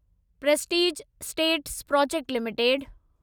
Prestige estates projects limited